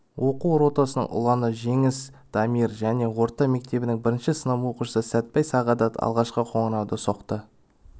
оқу ротасының ұланы жеңіс дамир және орта мектебінің бірінші сынып оқушысы сәтбай сағадат алғашқы қоңырауды соқты